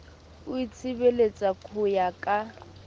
o itshebeletsa ho ya ka